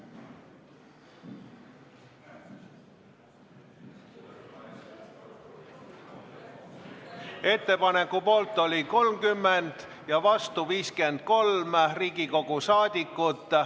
Hääletustulemused Ettepaneku poolt oli 30 ja vastu 53 Riigikogu liiget.